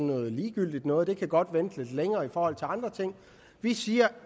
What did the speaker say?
noget ligegyldigt noget der godt kan vente lidt længere i forhold til andre ting vi siger